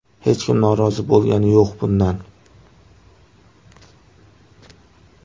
Hech kim norozi bo‘lgani yo‘q bundan.